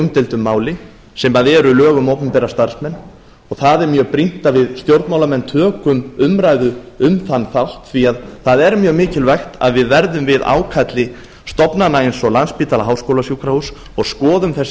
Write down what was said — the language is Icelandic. umdeildu máli sem eru lög um opinbera starfsmenn og það er mjög brýnt að við stjórnmálamenn tökum umræðu um þann þátt því að það er mjög mikilvægt að við verðum við ákalli stofnana eins og landspítala háskólasjúkrahúss og skoðum þessi